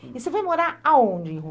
E você vai morar aonde em